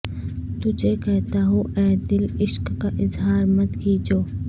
تجھے کہتا ہوں اے دل عشق کا اظہار مت کیجو